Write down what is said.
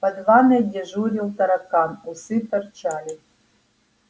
под ванной дежурил таракан усы торчали